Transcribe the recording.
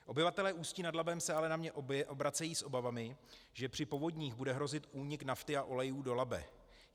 Obyvatelé Ústí nad Labem se ale na mě obracejí s obavami, že při povodních bude hrozit únik nafty a olejů do Labe.